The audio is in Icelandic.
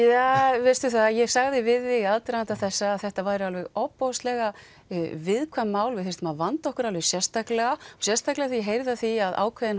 ja veistu það að ég sagði við þig í aðdraganda þessa að þetta væru alveg ofboðslega viðkvæm mál við þyrftum að vanda okkur alveg sérstaklega sérstaklega þegar ég heyrði af því að ákveðinn